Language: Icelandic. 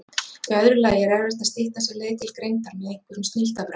Í öðru lagi er erfitt að stytta sér leið til greindar með einhverjum snilldarbrögðum.